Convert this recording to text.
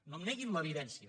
no em neguin l’evidència